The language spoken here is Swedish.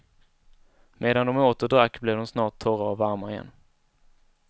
Medan de åt och drack, blev de snart torra och varma igen.